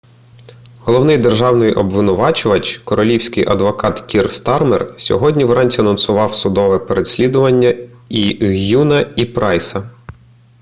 головний державний обвинувачувач королівський адвокат кір стармер сьогодні вранці анонсував судове переслідування і г'юна і прайса